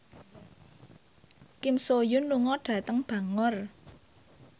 Kim So Hyun lunga dhateng Bangor